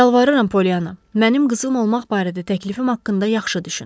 Yalvarıram Polyana, mənim qızım olmaq barədə təklifim haqqında yaxşı düşün.